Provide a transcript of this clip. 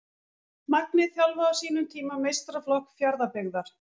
Magni þjálfaði á sínum tíma meistaraflokk Fjarðabyggðar.